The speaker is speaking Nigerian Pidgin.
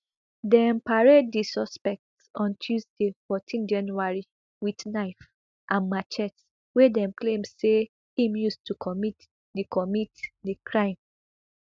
dem parade di suspect on tuesday fourteen january wit knife and machetes wey dem claim say im use to commit di commit di crime